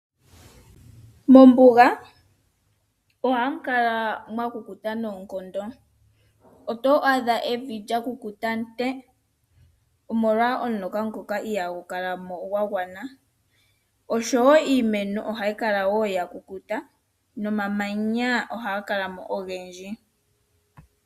Mombuga ohamu kala mwa kukuta noonkondo. Oto adha evi lya kukuta ntee, omolwa omuloka ngono ihagu kala mo gwa gwana. Oshowo iimeno ohayi kala ya kukuta nomamanya ohaga kala mo ogendji.